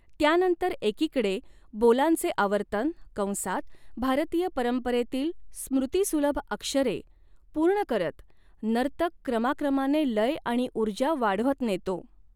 त्यानंतर एकीकडे बोलांचे आवर्तन कंसात भारतीय परंपरेतील स्मृतीसुलभ अक्षरे पूर्ण करत नर्तक क्रमाक्रमाने लय आणि ऊर्जा वाढवत नेतो.